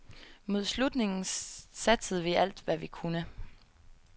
Mod slutningen satsede vi alt, hvad vi kunne.